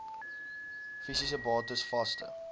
fisiese bates vaste